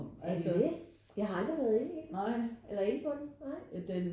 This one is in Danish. Er det det? Jeg har aldrig været inde i den eller inde på den nej